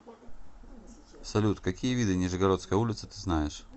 салют какие виды нижегородская улица ты знаешь